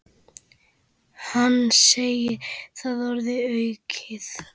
Hann segir það orðum aukið.